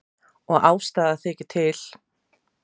Og ástæða þykir til.